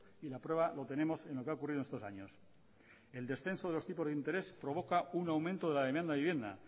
y la prueba lo tenemos en lo que ha ocurrido estos años el descenso de los tipos de interés provoca un aumento de la demanda de la vivienda